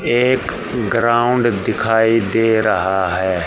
एक ग्राउंड दिखाई दे रहा है।